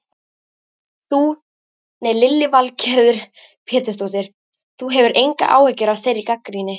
Lillý Valgerður Pétursdóttir: Þú hefur engar áhyggjur af þeirri gagnrýni?